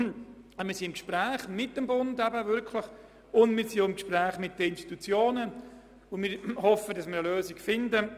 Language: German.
Aber wir sind im Gespräch mit dem Bund und den Institutionen, und wir hoffen, dass wir eine Lösung finden.